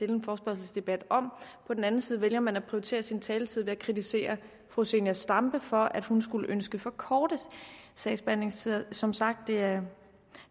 en forespørgselsdebat om på den anden side vælger man at prioritere sin taletid man kritiserer fru zenia stampe for at hun skulle ønske for korte sagsbehandlingstider som sagt er